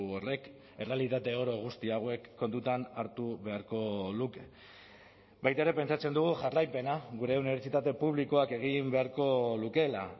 horrek errealitate oro guzti hauek kontutan hartu beharko luke baita ere pentsatzen dugu jarraipena gure unibertsitate publikoak egin beharko lukeela